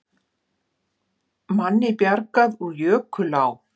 Manni bjargað úr jökulá